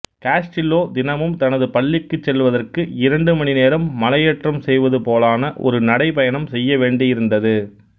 Castillo தினமும் தனது பள்ளிக்குச் செல்வதற்கு இரண்டு மணி நேரம் மலையேற்றம் செய்வது போலான ஒரு நடைப்பயணம் செய்ய வேண்டியிருந்தது